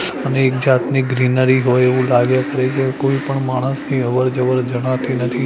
અને એક જાતની ગ્રીનરી હોય એવું લાગે કોઈ પણ માણસની અવર જવર જણાતી નથી.